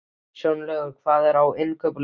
Snjólaugur, hvað er á innkaupalistanum mínum?